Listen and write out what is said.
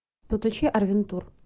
подключи арвентур